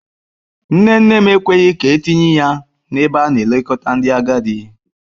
Nne nne m ekweghị ka etinye ya n'ebe a na-elekọta ndị agadi.